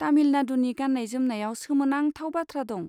तामिलनाडुनि गान्नाय जोमनायाव सोमोनांथाव बाथ्रा दं।